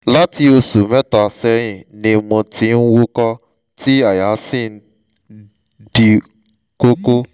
láti oṣù mẹ́ta sẹ́yìn ni mo ti ń wúkọ́ tí àyà mi sì ń di kókó